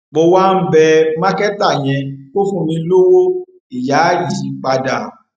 mo wá ń bẹ mákẹtà yẹn kó fún mi lọwọ ìyá yìí padà